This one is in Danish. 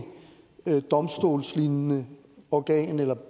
domstolslignende organ eller